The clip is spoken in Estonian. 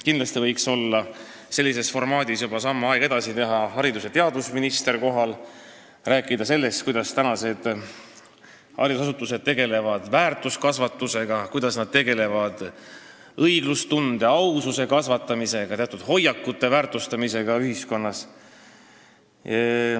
Kindlasti võiks olla kohal – selles formaadis on juba aeg samm edasi teha – haridus- ja teadusminister ning rääkida sellest, kuidas haridusasutused tegelevad väärtuskasvatusega, õiglustunde, aususe kasvatamisega ja teatud hoiakute väärtustamisega ühiskonnas.